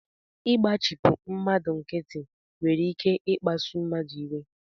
Ịgbachipu mmadụ nkịtị nwere ike ikpasu mmadụ iwe